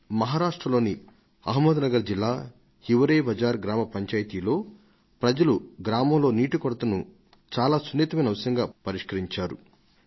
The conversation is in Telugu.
మహారాష్ట్రలోని అహ్మద్నగర్ జిల్లా హివ్ రేబజార్ గ్రామ పంచాయతీలో ఆ గ్రామస్తులు నీటి కొరతను ప్రధానమైన ఎంతో సున్నితమైన సమస్యగా ఎంచి పరిష్కరించుకున్నారని